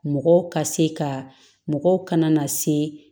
Mɔgɔw ka se ka mɔgɔw kana na se